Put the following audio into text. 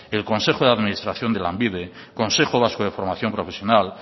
el consejo de administración de lanbide consejo vasco de formación profesional